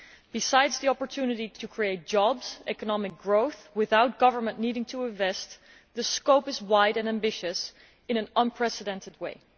Besides the opportunity to create jobs and economic growth and all this without governments needing to invest the scope is wide and ambitious in an unprecedented way.